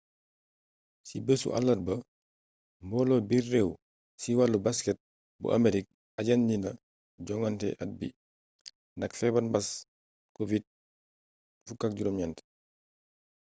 ci béssu àllarba mboolo biir réew ci walu basket bu aamerig ajandina jogante at bi ndax feebar mbaas covid-19